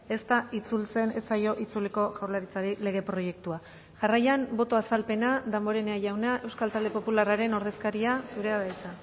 ez da itzultzen ez zaio itzuliko jaurlaritzari lege proiektua jarraian boto azalpena damborenea jauna euskal talde popularraren ordezkaria zurea da hitza